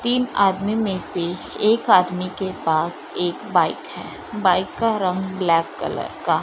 तीन आदमी में से एक आदमी के पास एक बाइक है बाइक का रंग ब्लैक कलर का--